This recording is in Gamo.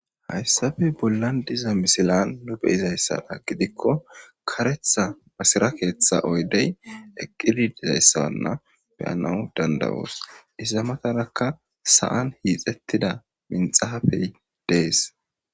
Hayisappe bollan diza misile nu beizayisa mala gidiko karetha masire ketha oyide eqidi dizayisa mala beanawu dandayos iza mataraka sa'an ixetida minxafe des